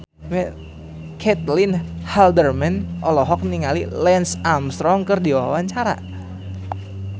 Caitlin Halderman olohok ningali Lance Armstrong keur diwawancara